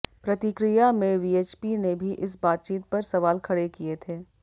प्रतिक्रिया में वीएचपी ने भी इस बातचीत पर सवाल खड़े किए थे